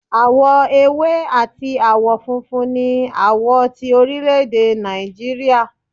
Awọ èwé atí awọ fúnfún ní awọ ti orilede nijíríría